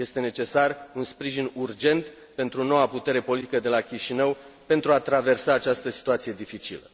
Este necesar un sprijin urgent pentru noua putere politică de la Chișinău pentru a traversa această situație dificilă.